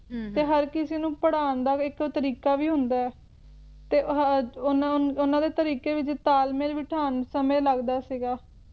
ਤੇ ਹਰ ਕਿਸੇ ਨੂੰ ਪੜ੍ਹਾਉਣ ਦਾ ਤਰੀਕਾ ਵੀ ਹੁੰਦਾ ਤੇ ਉਨ੍ਹਾਂ ਉਨ੍ਹਾਂ ਦੇ ਤਰੀਕੇ ਵਿਚ ਤਾਲਮੇਲ ਬਿਠਾਉਣ ਨੂੰ ਸਮੇ ਲੱਗਦਾ ਸੀਗਾ